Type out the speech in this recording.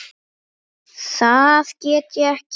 Það get ég ekki.